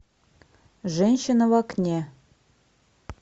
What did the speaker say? женщина в окне